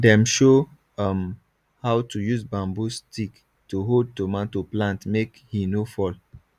dem show um how to use bamboo stick to hold tomato plantmake he no fall